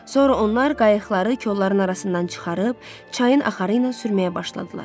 Sonra onlar qayıqları kolların arasından çıxarıb çayın axarı ilə sürməyə başladılar.